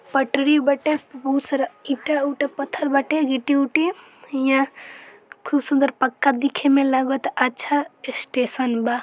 पटरी बाटे बहुत सारा ईटा उटा पत्थर बाटे गिट्टी उट्टी इहा खूब सुंदर पक्का देखे में लागता अच्छा स्टेशन बा।